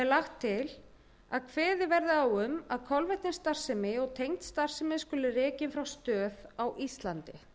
lagt til að kveðið verði á um að kolvetnisstarfsemi og tengd starfsemi skuli rekin frá stöð á íslandi